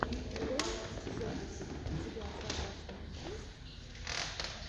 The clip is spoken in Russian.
вэйл джонс у тебя в загашнике есть